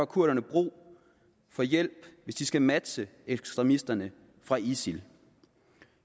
kurderne brug for hjælp hvis de skal matche ekstremisterne fra isil